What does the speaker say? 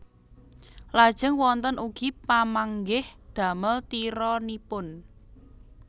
Lajeng wonten ugi pamanggih damel tironipun